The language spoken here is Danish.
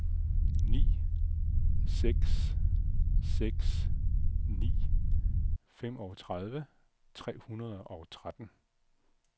ni seks seks ni femogtredive tre hundrede og tretten